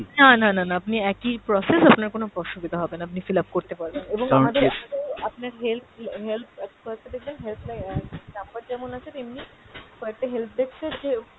না না না না আপনার একই process আপনার কোনো অসুবিধা হবে না আপনি fill up করতে পারবেন, এবং আমাদের আমাদের আপনাকে help, help, কয়েকটা দেখবেন help line অ্যাঁ number যেমন আছে তেমনি কয়েকটা help desk এর যে